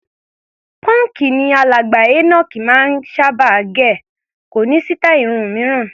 Pọ́ǹkì ni alàgbà Enoch máa ń sábà gẹ̀, kò ní sítáì irun mìíràn.